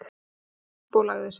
Hún fór upp og lagði sig.